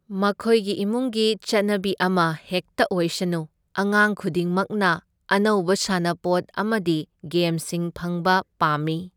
ꯃꯈꯣꯏꯒꯤ ꯏꯃꯨꯡꯒꯤ ꯆꯠꯅꯕꯤ ꯑꯃ ꯍꯦꯛꯇ ꯑꯣꯏꯁꯅꯨ, ꯑꯉꯥꯡ ꯈꯨꯗꯤꯡꯃꯛꯅ ꯑꯅꯧꯕ ꯁꯥꯟꯅꯄꯣꯠ ꯑꯃꯗꯤ ꯒꯦꯝꯁꯤꯡ ꯐꯪꯕ ꯄꯥꯝꯃꯤ꯫